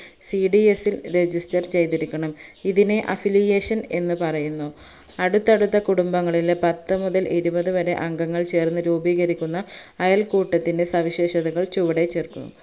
cds ഇൽ register ചെയ്‌തിരിക്കണം ഇതിനെ affiliation എന്ന് പറയുന്നു അടുത്തടുത്ത കുടുംബങ്ങളിലെ പത്തു മുതൽ ഇരുപതുവരെ അംഗങ്ങൾ ചേർന്ന് രൂപീകരിക്കുന്ന അയൽക്കൂട്ടത്തിന്റെ സവിശേഷതകൾ ചുവടെ ചേർക്കുന്നു